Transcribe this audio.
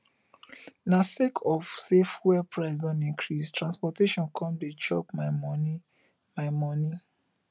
na sake of sey fuel price don increase transportation come dey chop my moni my moni